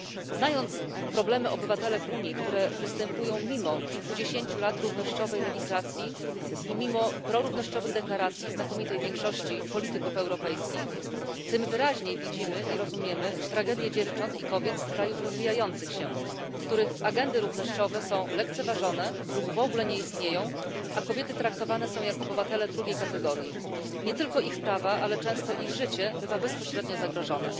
Znając problemy obywatelek Unii, które występują mimo kilkudziesięciu lat równościowej legislacji i mimo prorównościowych deklaracji znakomitej większości polityków europejskich, tym wyraźniej widzimy i rozumiemy tragedię dziewcząt i kobiet z krajów rozwijających się, w których agendy równościowe są lekceważone lub w ogóle nie istnieją, a kobiety traktowane są jak obywatele drugiej kategorii. Nie tylko ich prawa, ale często ich życie bywa bezpośrednio zagrożone.